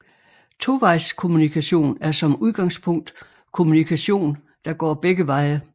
Tovejskommunikation er som udgangspunkt kommunikation der går begge veje